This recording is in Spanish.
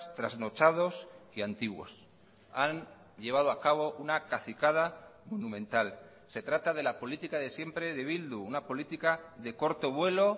trasnochados y antiguos han llevado a cabo una cacicada monumental se trata de la política de siempre de bildu una política de corto vuelo